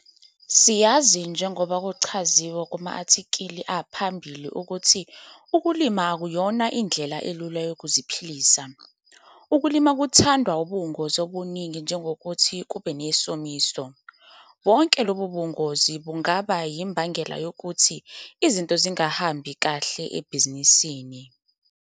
Siyazi njengoba kuchaziwe kuma-athikhile aphambili ukuthi ukulima akuyona indlela elula yokuziphilisa. Ukulima kuthandwa ubungozi obuningi njengokuthi kube nesomiso. Bonke lobu bungozi bungaba yimbangela yokuthi izinto zingahambi kahle ebhizinisini.